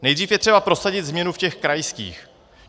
Nejdřív je třeba prosadit změnu v těch krajských.